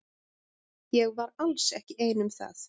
Ég var alls ekki ein um það.